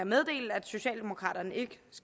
meddele at socialdemokraterne ikke